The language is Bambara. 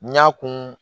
N y'a kun